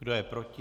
Kdo je proti?